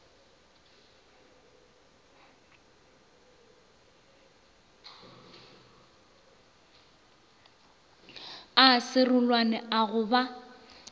a serolwane a go ba